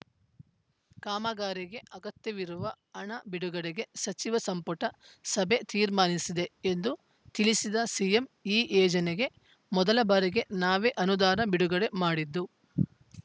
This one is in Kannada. ಕಾಮಗಾರಿಗೆ ಅಗತ್ಯವಿರುವ ಹಣ ಬಿಡುಗಡೆಗೆ ಸಚಿವ ಸಂಪುಟ ಸಭೆ ತೀರ್ಮಾನಿಸಿದೆ ಎಂದು ತಿಳಿಸಿದ ಸಿಎಂ ಈ ಯೇಜನೆಗೆ ಮೊದಲ ಬಾರಿಗೆ ನಾವೇ ಅನುದಾನ ಬಿಡುಗಡೆ ಮಾಡಿದ್ದು